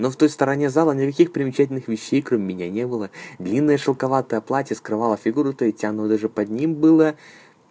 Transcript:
но в той стороне зала никаких примечательных вещей кроме меня не было длинное шелковое платье скрывала фигуры ведь оно даже под ним было